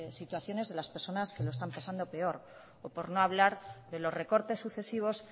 situaciones de las personas que lo están pasando peor o por no hablar de los recortes sucesivos